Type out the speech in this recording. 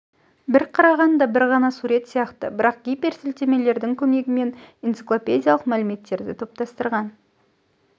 бір қарағанда бір ғана сурет сияқты бірақ гиперсілтемелердің көмегімен энциклопедиялық мәліметтерді топтастырған